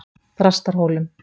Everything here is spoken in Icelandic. Þrastarhólum